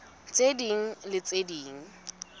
tse ding le tse ding